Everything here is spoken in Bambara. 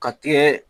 Ka tigɛ